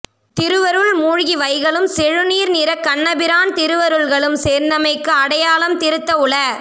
திருவருள் மூழ்கி வைகலும் செழு நீர் நிறக் கண்ணபிரான் திருவருள்களும் சேர்ந்தமைக்கு அடையாளம் திருந்த உள